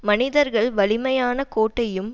மனிதர்கள் வலிமையான கோட்டையும்